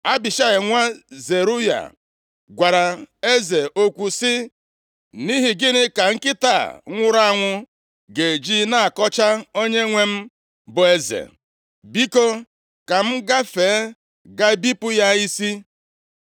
Abishai, nwa Zeruaya + 16:9 Zeruaya bụ nwanne nwanyị Devid, ya mere Joab na Abishai bụ ụmụ nwanne ya. gwara eze okwu sị, “Nʼihi gịnị ka nkịta a nwụrụ anwụ ga-eji na-akọcha onyenwe m bụ eze? Biko, ka m gafee gaa bipụ ya isi.”